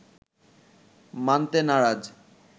মানতে নারাজ